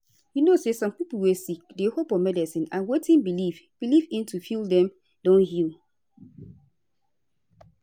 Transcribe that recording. you know say some pipo wey sick dey hope on medicine and wetin belief belief in to feel dem don heal